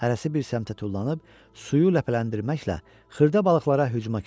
Hərəsi bir səmtə tullanıb suyu ləpələndirməklə xırda balıqlara hücuma keçdilər.